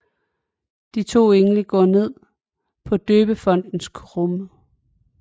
De to engle går igen på døbefontens kumme